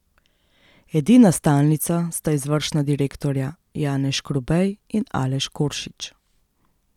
Edina stalnica sta izvršna direktorja Janez Škrubej in Aleš Koršič.